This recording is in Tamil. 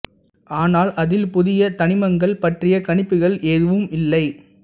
ஆனால் அதில் புதிய தனிமங்கள் பற்றிய கணிப்புகள் எதுவும் இல்லை